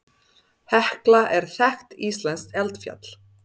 Hekla er þekkt íslenskt eldfjall.